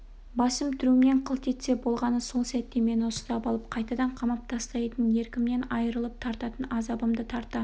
басым трюмнен қылт етсе болғаны сол сәтте мені ұстап алып қайтадан қамап тастайтынын еркімнен айрылып тартатын азабымды тарта